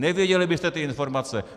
Nevěděli byste ty informace.